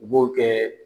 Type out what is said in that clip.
U b'o kɛ